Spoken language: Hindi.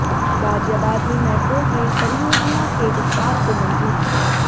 गाजियाबाद में मेट्रो रेल परियोजना के विस्तार को मंजूरी